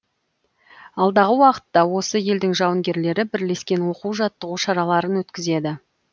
алдағы уақытта осы елдің жауынгерлері бірлескен оқу жаттығу шараларын өткізеді